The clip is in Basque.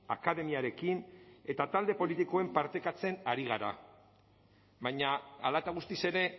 akademiarekin eta talde politikoekin partekatzen ari gara baina hala eta guztiz ere